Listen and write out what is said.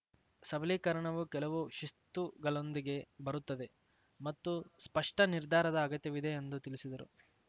ಸಬಲೀಕರಣವು ಕೆಲವು ಶಿಸ್ತುಗಳೊಂದಿಗೆ ಬರುತ್ತದೆ ಮತ್ತು ಸ್ಪಷ್ಟ ನಿರ್ಧಾರದ ಅಗತ್ಯವಿದೆ ಎಂದು ತಿಳಿಸಿದರು